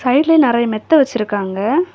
சைடுல நெறைய மெத்த வெச்சிருக்காங்க.